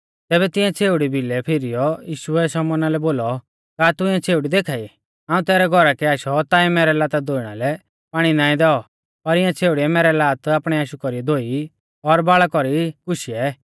तैबै तिऐं छ़ेउड़ी भिलै फीरीऔ यीशुऐ शमौना लै बोलौ का तू इऐ छ़ेउड़ी देखा ई हाऊं तैरै घौरा कै आशौ ताऐं मैरै लाता धोइणा लै पाणी नाईं दैऔ पर इऐं छ़ेउड़ीऐ मेरी लातै आपणै आशु कौरीऐ धोई और बाल़ा कौरीऐ ई गुशी